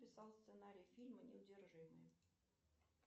писал сценарий фильма неудержимые